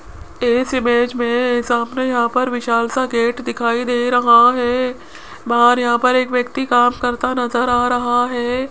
इस इमेज में सामने यहां पर विशाल सा गेट दिखाई दे रहा है बाहर यहां पर एक व्यक्ति काम करता नजर आ रहा है।